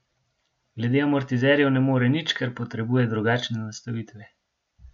Glede amortizerjev ne more nič, ker potrebuje drugačne nastavitve.